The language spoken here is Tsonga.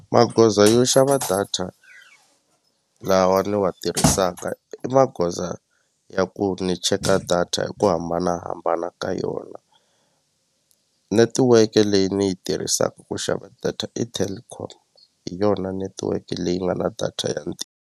Magoza yo xava data lawa ni wa tirhisaka i magoza ya ku ni cheka data hi ku hambanahambana ka yona netiweke leyi ni yi tirhisaka ku xava data i Telkom hi yona netiweke leyi nga na data ya .